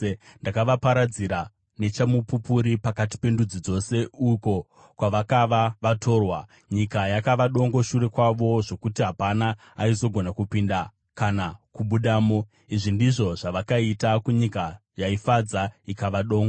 ‘Ndakavaparadzira nechamupupuri pakati pendudzi dzose, uko kwavakava vatorwa. Nyika yakava dongo shure kwavo zvokuti hapana aizogona kupinda kana kubudamo. Izvi ndizvo zvavakaita kunyika yaifadza, ikava dongo.’ ”